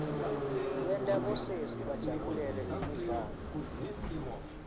wenta bosesi bajabulele imidlalo